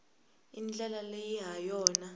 i ndlela leyi ha yona